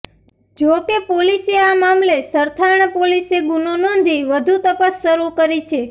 જોકે પોલીસે આ મામલે સરથાણા પોલીસે ગુનો નોંધી વધુ તપાસ શરું કરી છે